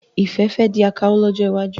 Ifẹ fè di awakọ̀ lójó iwájú.